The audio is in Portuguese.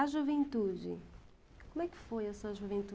A juventude, como é que foi essa